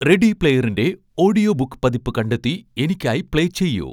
ready പ്ലെയറിന്റെ audio book പതിപ്പ് കണ്ടെത്തി എനിക്കായി പ്ലേ ചെയ്യൂ